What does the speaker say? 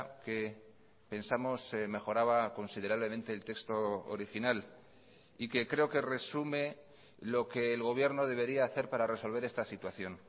que pensamos mejoraba considerablemente el texto original y que creo que resume lo que el gobierno debería hacer para resolver esta situación